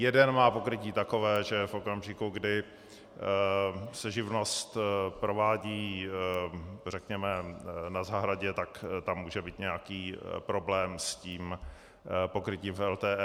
Jeden má pokrytí takové, že v okamžiku, kdy se živnost provádí, řekněme na zahradě, tak tam může být nějaký problém s tím pokrytím v LTE.